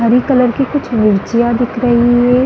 हरे colour की कुछ मिर्चियाँ दिख रही हैं।